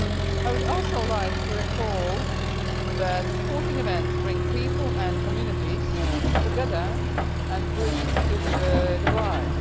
I would also like to recall that sporting events bring people and communities together and bridge divides.